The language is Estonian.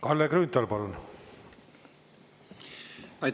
Kalle Grünthal, palun!